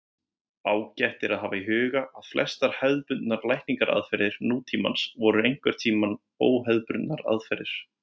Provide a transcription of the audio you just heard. Ágætt er að hafa í huga að flestar hefðbundnar lækningaraðferðir nútímans voru einhverntíma óhefðbundnar aðferðir.